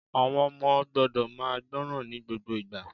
Àwon ọmọ gbọ́dọ̀ máa gbọ́ràn ní gbogbo ìgbà